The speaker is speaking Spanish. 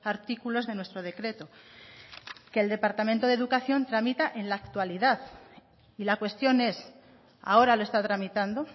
artículos de nuestro decreto que el departamento de educación tramita en la actualidad y la cuestión es ahora lo está tramitando